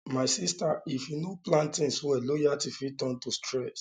my sista if you no plan tins well loyalty fit turn to stress